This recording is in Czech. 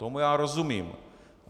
Tomu já rozumím.